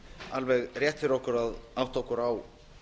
alveg rétt fyrir okkur að átta okkur á